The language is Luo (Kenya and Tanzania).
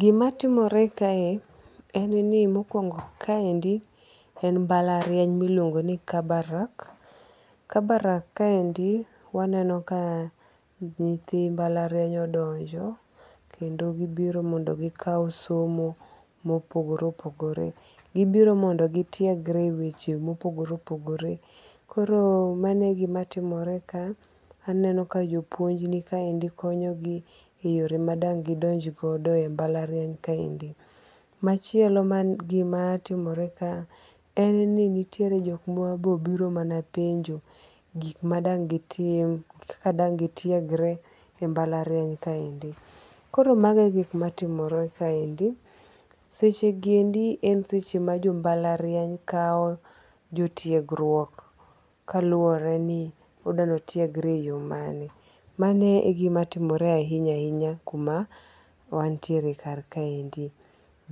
Gimatimore kae en ni mokuongo' kaendi en mbalariany miluongo ni Kabarak. Kabarak kaendi waneno ka nyithi mbalariany odonjo kendo gibiro mondo gikaw somo ma opogore opogore gibiro mondi gitiegre e weche ma opogore opogore koro mano e gima timore ka, aneno ka jopuonj nikaendi konyogi e yore ma dang' gidonjogodo e mbalariany kaendi, machielo man gimatimore ka en nitire jok ma be obiro mana penjo gik ma dang'gitim kaka dang' gitiegre e mbalariany kaendi. Koro mago e gik matimore kaendi seche gi endi en seche ma jo mbalariany kawo jotiegruok kaluwore ni odwani otiegre e yo mane mano e gimatimore ahinya ahinya kuma wantiere karkaendi.